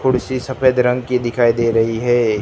कुर्सी सफेद रंग की दिखाई दे रही है।